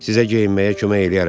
Sizə geyinməyə kömək eləyərəm.